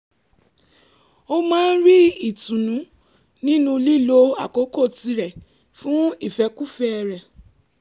ó máa ń rí ìtùnú nínú lílo àkókò tirẹ̀ fún ìfẹ́kúfẹ̀ẹ́ rẹ̀